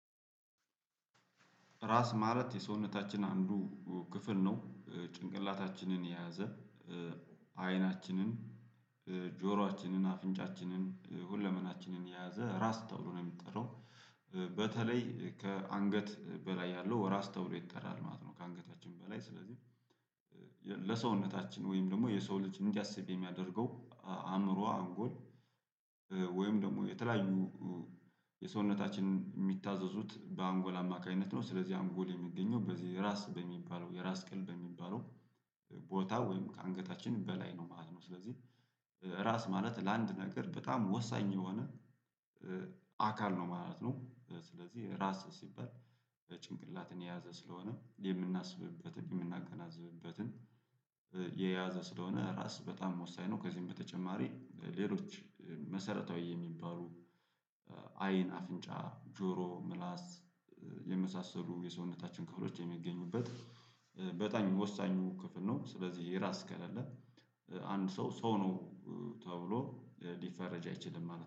ራስ ማለት የሰውነታችን አንዱ ክፍል ነው ጭንቅላታችንን የያዘ አይናችንን ጆሮአችንን አፍንጫችንን ሁለመናችንን የያዘ ራስ ተብሎ ነው የሚጠራው። በተለይ ከአንገት በላይ ያለው ራስ ተብሎ ይጠራል ማለት ነው። ከአንገታችን በላይ ስለዚህ ለሰውነታችን ወይም ደግሞ የሰው ልጅ እንዲያስብ የሚያደርገው አእምሮ አንጎል። ወይም ደግሞ የተለያዩ የሰውነታችንን የሚታዘዙት በአንጎል አማካኝነት ነው። ስለዚህ አንጎል የሚገኘው በዚህ የራስ በሚባለው የራስ ቅል በሚባለው ቦታ ወይም ከአንገታችን በላይ ነው ማለት ነው። ስለዚህ ራስ ማለት ለአንድ ነገር በጣም ወሳኝ የሆነ አካል ነው ማለት ነው። ስለዚህ ራስ ሲባል ጭንቅላትን የያዘ ስለሆነ የምናስብበትን የምናገናዝብበትን የያዘ ስለሆነ ራስ በጣም ወሰኝ ነው። ከዚህም በተጨማሪ ሌሎች መሰረታዊ የሚባሉ አይን አፍንጫ ጆሮ ምላስ የመሳሰሉ የሰውነታችን ክፍሎች የሚገኙበት በጣኝ ወሳኙ ክፍል ነው። ስለዚህ የራስ ከሌለ አንድ ሰው ሰው ነው ተብሎ ሊፈረጅ አይችልም ማለት ነው